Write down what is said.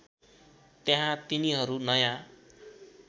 त्यहाँ तिनीहरू नयाँ